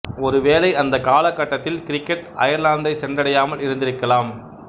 ஒருவேளை அந்தக் கால கட்டத்தில் கிரிக்கெட்டு அயர்லாந்தை சென்றடையாமல் இருந்திருக்கலாம்